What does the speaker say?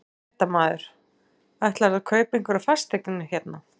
Fréttamaður: Ætlarðu að kaupa einhverjar fasteignir hérna?